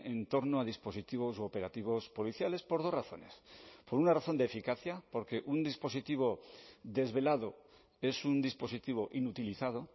en torno a dispositivos operativos policiales por dos razones por una razón de eficacia porque un dispositivo desvelado es un dispositivo inutilizado